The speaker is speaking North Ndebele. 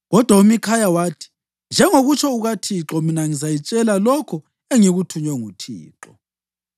Kodwa uMikhaya wathi, “Njengokutsho kukaThixo, mina ngizayitshela lokho engikuthunywe nguThixo.”